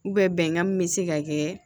bɛnkan min bɛ se ka kɛ